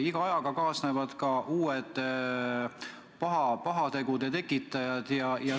Iga ajaga kaasnevad uued pahategude tekitajad.